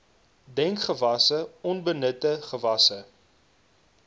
dekgewasse onbenutte gewasse